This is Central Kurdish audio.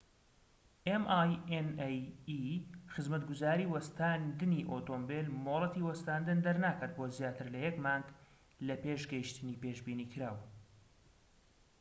خزمەتگوزاری وەستاندنی ئۆتۆمبێلminae ‎ مۆڵەتی وەستاندن دەرناکات بۆ زیاتر لە یەک مانگ لە پێش گەیشتنی پێشبینیکراو‎